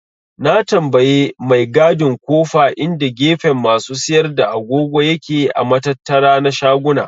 Na tambaye mai gadin kofa inda gefen masu siyar da agogo yake a matattara na shaguna.